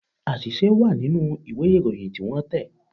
Àṣìṣe wà nínú ìwé Ìròyìn tí wọ́n tẹ̀